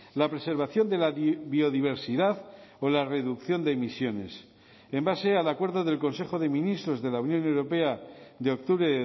la preservación de la biodiversidad o la reducción de emisiones en base al acuerdo del consejo de ministros de la unión europea de octubre